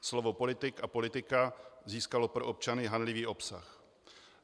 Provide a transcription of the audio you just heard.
Slovo politik a politika získalo pro občany hanlivý obsah.